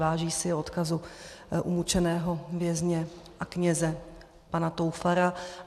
Váží si odkazu umučeného vězně a kněze pana Toufara.